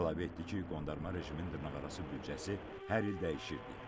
Əlavə etdi ki, qondarma rejimin dırnaqarası büdcəsi hər il dəyişirdi.